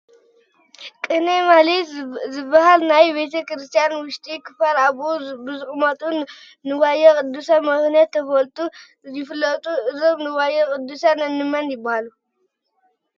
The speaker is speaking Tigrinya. ቅኔ ማህሌት ዝበሃል ናይ ቤተ ክርስቲያን ውሽጢ ክፋል ኣብኡ ብዝቕመጡ ንዋየ ቅድሳት ምኽንያት ተፈልዩ ይፍለጥ፡፡ እዞም ንዋየ ቅድሳት እንመን ይበሃሉ?